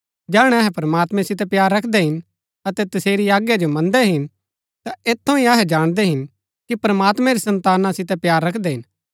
जैहणै अहै प्रमात्मैं सितै प्‍यार रखदै हिन अतै तसेरी आज्ञा जो मन्दै हिन ता ऐत थऊँ ही अहै जाणदै हिन कि प्रमात्मैं री सन्ताना सितै प्‍यार रखदै हिन